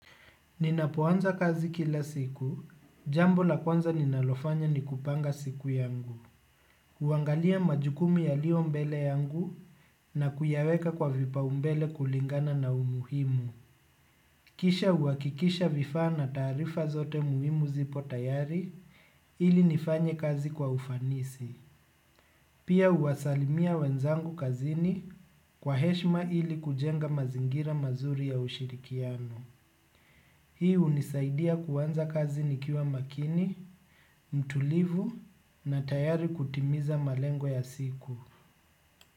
Ninapo anza kazi kila siku, jambo la kwanza ninalofanya ni kupanga siku yangu. Uangalia majukumu yaliyo mbele yangu na kuyaweka kwa vipaumbele kulingana na umuhimu. Kisha uakikisha vifaa na taarifa zote muhimu zipo tayari ili nifanye kazi kwa ufanisi. Pia uasalimia wenzangu kazini kwa heshma ili kujenga mazingira mazuri ya ushirikiano. Hii unisaidia kuanza kazi nikiwa makini, mtulivu na tayari kutimiza malengo ya siku.